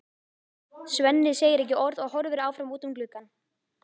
Svenni segir ekki orð og horfir áfram út um gluggann.